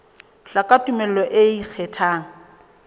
hloka tumello e ikgethang e